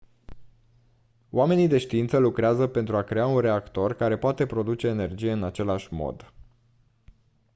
oamenii de știință lucrează pentru a crea un reactor care poate produce energie în același mod